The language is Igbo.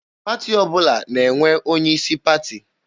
Pati ọbụla na-enwe onye isi pati.